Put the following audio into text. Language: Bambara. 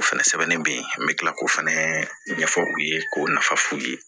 O fɛnɛ sɛbɛnnen be yen an be tila k'o fɛnɛ ɲɛfɔ u ye k'o nafa f'u ye